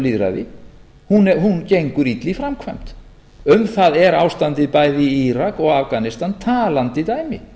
lýðræði hún gengur illa í framkvæmd um það er ástandið bæði í írak og afganistan talandi dæmi